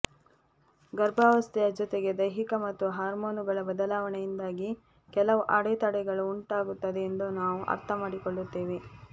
ಗರ್ಭಾವಸ್ಥೆಯ ಜೊತೆಗೆ ದೈಹಿಕ ಮತ್ತು ಹಾರ್ಮೋನುಗಳ ಬದಲಾವಣೆಯಿಂದಾಗಿ ಕೆಲವು ಅಡೆತಡೆಗಳು ಉಂಟಾಗುತ್ತದೆ ಎಂದು ನಾವು ಅರ್ಥಮಾಡಿಕೊಳ್ಳುತ್ತೇವೆ